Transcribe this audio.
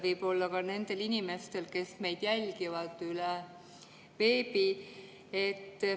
Võib-olla on neid ka nendel inimestel, kes meid jälgivad üle veebi.